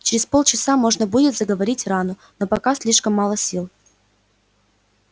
через полчаса можно будет заговорить рану но пока слишком мало сил